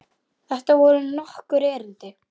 Þetta voru nokkur erindi.